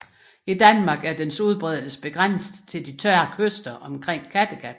I Danmark er dens udbredelse begrænset til de tørre kyster omkring Kattegat